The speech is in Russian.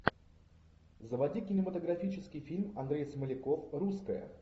заводи кинематографический фильм андрей смоляков русская